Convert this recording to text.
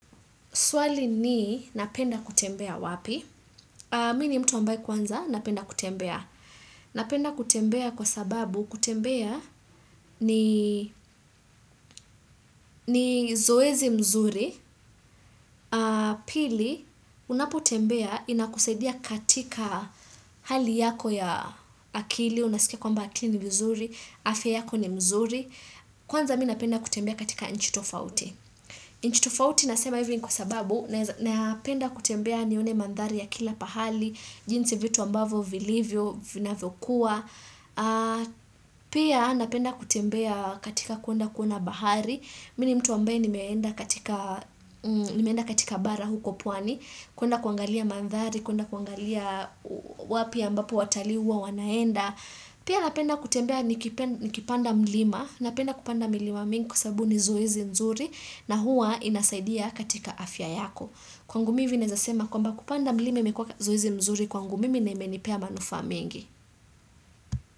Swali ni, napenda kutembea wapi? Mini mtu ambaye kwanza, napenda kutembea. Napenda kutembea kwa sababu, kutembea ni zoezi mzuri. Pili, unapotembea, inakusaidia katika hali yako ya akili, unasikia kwamba akili ni mzuri, afya yako ni mzuri. Kwanza, mi napenda kutembea katika nchi tofauti. Nchitofauti nasema hivyo ni kwa sababu na penda kutembea nione mandhari ya kila pahali, jinsi vitu ambavo vilivyo, vina vokua, pia napenda kutembea katika kwenda kuona bahari, mimi ni mtu ambaye ni meenda katika bara huko pwani, kwenda kuangalia mandhari, kwenda kuangalia wapi ambapo watalii huwa wanaenda, pia napenda kutembea nikipanda mlima, napenda kupanda milimamingi sababu nizoezi nzuri na hua inasaidia katika afya yako. Kwangu mivi neezasema kwamba kupanda mlimi imekwa zoezi mzuri kwangu mimi na inemenipea manufaa mingi.